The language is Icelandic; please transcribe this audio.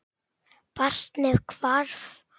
Barnið hvarf.